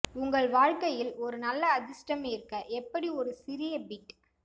உங்கள் வாழ்க்கையில் ஒரு நல்ல அதிர்ஷ்டம் ஈர்க்க எப்படி ஒரு சிறிய பிட்